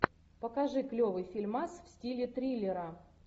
покажи клевый фильмас в стиле триллера